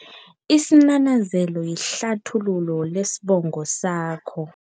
Isinanazelo yihlathululo lesibongo sakho.